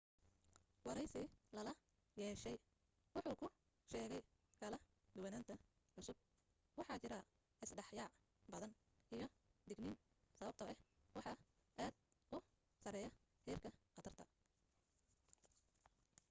waraysi lala yeeshay wuxuu ku sheegay kala duwananta cusub waxaa jira is dhexyaac badan iyo digniin sababtoo ah waxaa aad u sareeya heerka khatarta